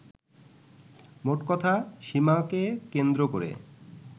মোটকথা, সীমাকে কেন্দ্র করে